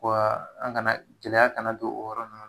Ko an kana, gɛlɛya kana don o yɔrɔ ninnu na